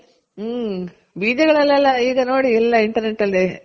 ಹ್ಮ್ಮ್ ಬೀಜಗಳಲ್ಲೆಲ್ಲ ಈಗ ನೋಡಿ ಎಲ್ಲ internet ಅಲ್ಲಿ